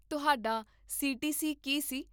ਤੁਹਾਡਾ C T C ਕੀ ਸੀ?